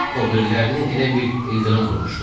O birilərini elə bil ildırım vurmuşdu.